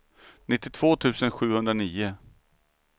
nittiotvå tusen sjuhundranio